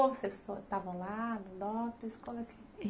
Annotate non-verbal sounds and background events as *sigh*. Vocês estavam lá, no? *unintelligible*